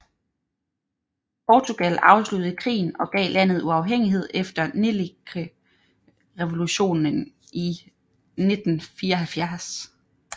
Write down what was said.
Portugal afsluttede krigen og gav landet uafhængighed efter Nellikrevolutionen i 1974